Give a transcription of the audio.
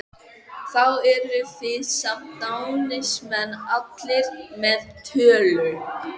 Þá eru þið samt dándismenn allir með tölu!